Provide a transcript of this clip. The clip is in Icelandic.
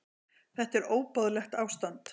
Þetta er óboðlegt ástand.